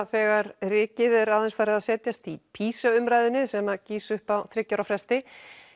þegar rykið er aðeins farið að setjast í PISA umræðunni sem gýs upp á þriggja ára fresti